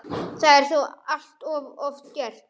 Það er þó allt of oft gert.